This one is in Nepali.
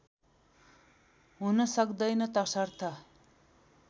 हुन सक्दैन तसर्थ